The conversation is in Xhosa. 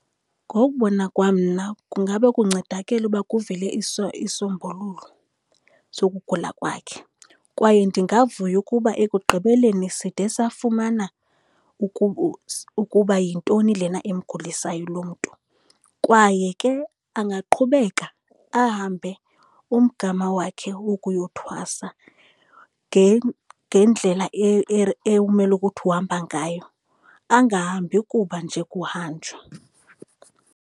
Ngokubona kwam mna kungaba kuncedakele uba kuvele isisombululo sokugula kwakhe, kwaye ndingavuya ukuba ekugqibeleni side safumana ukuba yintoni lena imgulisayo lo mntu. Kwaye ke angaqhubeka ahambe umgama wakhe wokuyothwasa ngendlela ekumele ukuthi uhamba ngayo, angahambi kuba nje kuhanjwa.